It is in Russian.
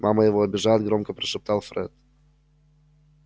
мама его обижает громко прошептал фред